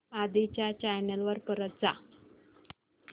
आधी च्या चॅनल वर परत जा